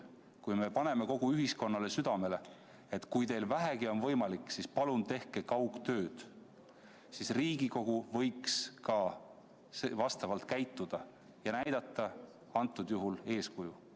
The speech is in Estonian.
Kui me paneme kogu ühiskonnale südamele, et kui teil vähegi on võimalik, siis palun tehke kaugtööd, siis Riigikogu võiks ka niimoodi käituda ja näidata eeskuju.